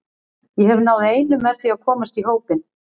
Ég hef náð einu með því að komast í hópinn.